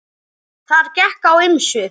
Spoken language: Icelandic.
Þar gekk á ýmsu.